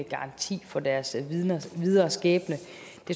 garanti for deres videre skæbne